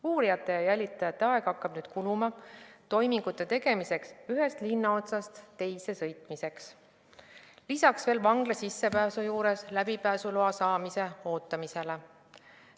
Uurijate ja jälitajate aeg hakkab kuluma toimingute tegemise huvides ühest linnaotsast teise sõitmisele, lisaks veel vangla sissepääsu juures läbipääsuloa ootamisele.